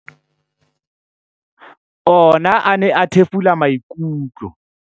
Ona a ne a thefula maikutlo.